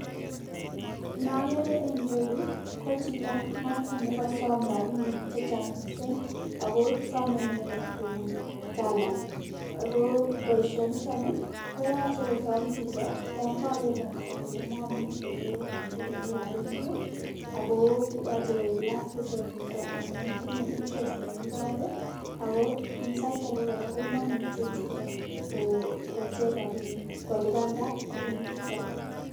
Nookeere eng nira yuu kochito noto nekasom rapinik chechang mising ako some inendet kobun TALA ako boisionito koyache kosom chito yon kakeer kapsaa kole mami ole icherune rapinik ako yoche koek last resort niton amun tinyei interest nemi barak ako sait ake kora komamuchei chito kocher rapinik kolipanda rapinichuto.